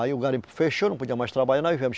Aí o garimpo fechou, não podia mais trabalhar, nós viemos.